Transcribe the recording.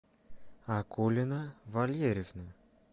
акулина валерьевна